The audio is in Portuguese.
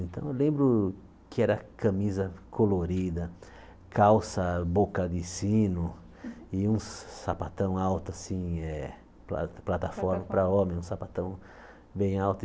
Então eu lembro que era camisa colorida, calça, boca de sino e um sapatão alto assim, eh pla plataforma Plataforma para homem, um sapatão bem alto.